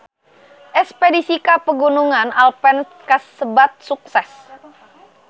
Espedisi ka Pegunungan Alpen kasebat sukses